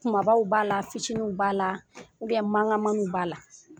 Kumabaw b'a la, fitiniw b'a la. mankan mankanmaniw b'a la.